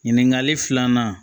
Ɲininkali filanan